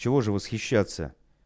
чего же восхищаться